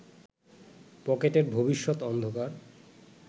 পকেটের ভবিষ্যত অন্ধকার